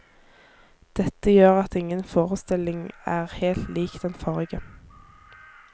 Dette gjør at ingen forestilling er helt lik den forrige.